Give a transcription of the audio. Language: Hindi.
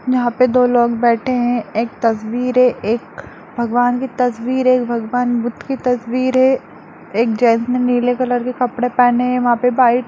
यहां पर दो लोग बैठे हैं एक तस्वीर है एक भगवान की तस्वीर है एक भगवान बुद्ध की तस्वीर है एक जेट्स ने नीले कलर की कपड़े पहने है वहां पे वाइ--